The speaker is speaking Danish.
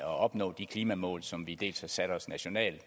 at opnå de klimamål som vi dels har sat os nationalt